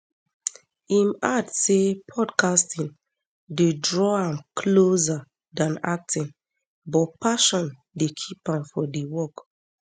im add say podcasting dey draw am closer dan acting but passion dey keep am for di work